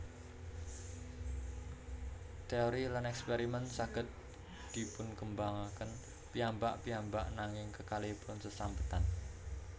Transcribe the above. Téori lan èkspèrimèn saged dipunkembangaken piyambak piyambak nanging kekalihipun sesambetan